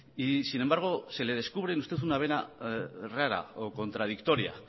y sin embargo se le descubren usted una vena rara o contradictoria